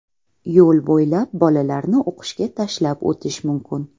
Yo‘l bo‘ylab bolalarni o‘qishga tashlab o‘tish mumkin.